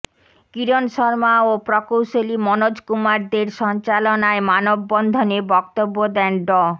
কিরণ শর্মা ও প্রকৌশলী মনোজ কুমার দের সঞ্চালনায় মানববন্ধনে বক্তব্য দেন ড